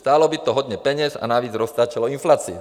Stálo by to hodně peněz a navíc roztáčelo inflaci."